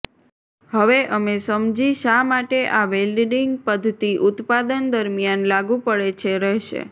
હવે અમે સમજી શા માટે આ વેલ્ડિંગ પદ્ધતિ ઉત્પાદન દરમિયાન લાગુ પડે છે રહેશે